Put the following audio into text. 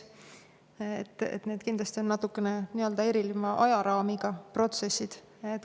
Need on kindlasti natukene erineva ajaraamiga protsessid.